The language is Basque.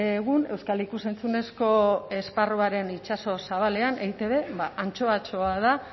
egun euskal ikus entzunezko esparruaren itsaso zabalean eitb antxoatxoa da